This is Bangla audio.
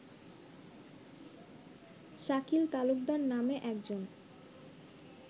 শাকিল তালুকদার নামে একজন